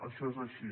això és així